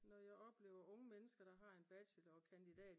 Når jeg oplever unge mennesker der har en bachelor og en kandidat